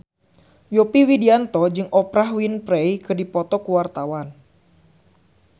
Yovie Widianto jeung Oprah Winfrey keur dipoto ku wartawan